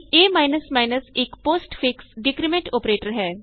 ਏ ਇਕ postfix decrement operator ਹੈ